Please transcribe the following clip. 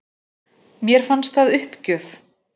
Mér finnst það uppgjöf